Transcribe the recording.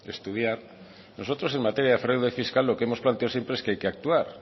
estudiar nosotros en materia de fraude fiscal lo que hemos planteado siempre es que hay que actuar